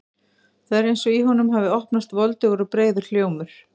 Það er eins og í honum hafi opnast voldugur og breiður hljómur.